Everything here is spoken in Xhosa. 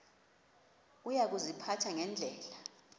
uya kuziphatha ngendlela